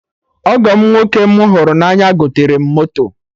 Ọgọ m nwoke m hụrụ na anya goterem moto